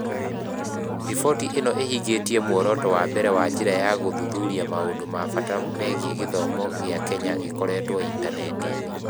Riboti ĩno ĩhingĩtie muoroto wa mbere na njĩra ya gũthuthuria maũndũ ma bata megiĩ gĩthomo gĩa Kenya gĩkorĩtwo intaneti-inĩ .